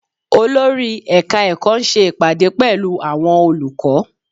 Olórí ẹ̀ka ẹ̀kọ́ ń ṣe ìpàdé pẹ̀lú àwọn olùkọ́